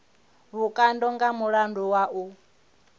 vhukando nga mulandu wa u